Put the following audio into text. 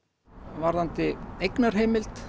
varðandi eignarheimild